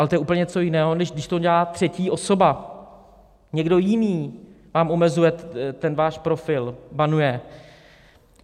Ale to je úplně něco jiného, než když to dělá třetí osoba, někdo jiný vám omezuje ten váš profil, banuje.